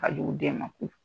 Ka jugu den ma